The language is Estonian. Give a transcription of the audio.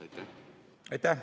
Aitäh!